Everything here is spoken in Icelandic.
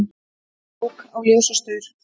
Ók á ljósastaur